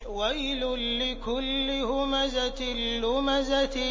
وَيْلٌ لِّكُلِّ هُمَزَةٍ لُّمَزَةٍ